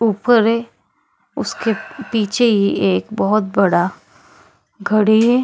ऊपर है उसके पीछे ही एक बहोत बड़ा घड़ी है।